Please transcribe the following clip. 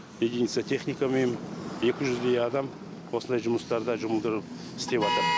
единица техника мен екі жүздей адам осындай жұмыстарда жұмылдырылып істеватыр